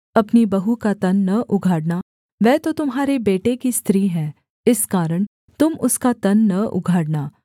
अपनी बहू का तन न उघाड़ना वह तो तुम्हारे बेटे की स्त्री है इस कारण तुम उसका तन न उघाड़ना